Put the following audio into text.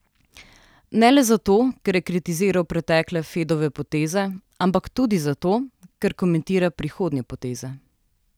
Ne le zato, ker je kritiziral pretekle Fedove poteze, ampak tudi zato, ker komentira prihodnje poteze.